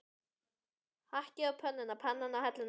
Hakkið á pönnuna, pannan á helluna.